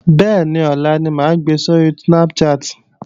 Bẹ́ẹ̀ni ọlá ni máa gbe sóri Snapchat